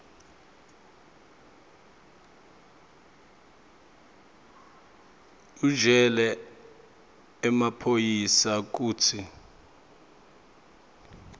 utjele emaphoyisa kutsi